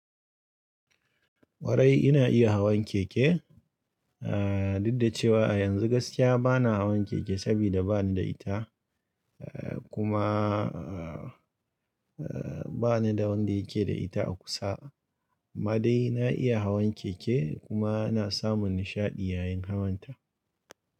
Kwarai ina iya hawan keke, eh duk da cewa yanzu gaskiya ba na hawan keke sabida ba ni da ita. Kuma ba ni da wanda yake da ita a kusa. Amma dai na iya hawan keke kuma na samun nishaɗi yayin hawanta.